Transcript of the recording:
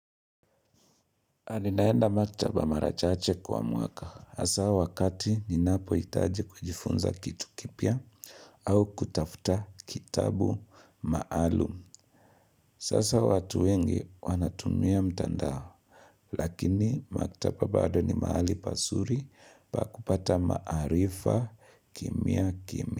Na ninaenda maktaba mara chache kwa mwaka. Hasa wakati ninapohitaji kujifunza kitu kipya au kutafuta kitabu maalum. Sasa watu wengi wanatumia mtandao. Lakini maktaba bado ni mahali pazuri pa kupata maarifa kimya kimi.